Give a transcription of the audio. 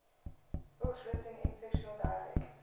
books written in fictional dialects